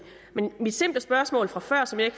men mit simple spørgsmål fra før som jeg